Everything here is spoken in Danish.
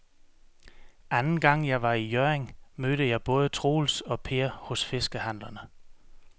Anden gang jeg var i Hjørring, mødte jeg både Troels og Per hos fiskehandlerne.